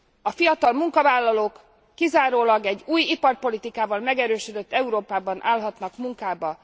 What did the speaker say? A fiatal munkavállalók kizárólag egy új iparpolitikával megerősödött Európában állhatnak munkába.